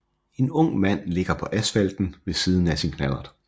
En ung mand ligger på asfalten ved siden af sin knallert